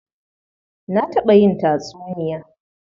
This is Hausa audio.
Na taɓa yin tatsuniya.